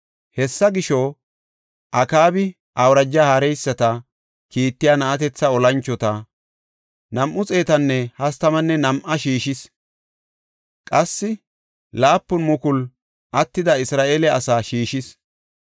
Hessa gisho, Akaabi awuraja haareysati kiittiya na7atetha olanchota, 232 shiishis. Qassi 7,000 attida Isra7eele asaa shiishis.